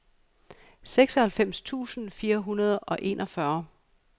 seksoghalvfems tusind fire hundrede og enogfyrre